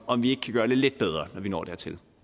om vi ikke kan gøre det lidt bedre når vi når dertil